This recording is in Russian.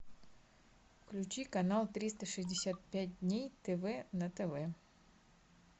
включи канал триста шестьдесят пять дней тв на тв